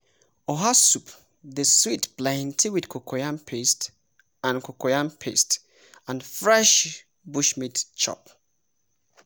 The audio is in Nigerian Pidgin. oha soup dey sweet plenty with cocoyam paste and cocoyam paste and fresh bushmeat chop.